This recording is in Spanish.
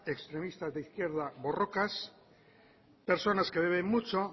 extremistas de izquierda borrokas personas que beben mucho